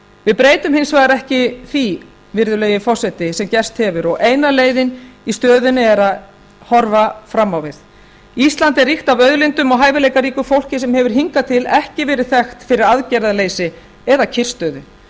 við breytum hins vegar ekki því virðulegi forseti sem gerst hefur og eina leiðin í stöðunni er að horfa fram á veg ísland er ríkt af auðlindum og hæfileikaríku fólki sem hefur hingað til ekki verið þekkt fyrir aðgerðaleysi eða kyrrstöðu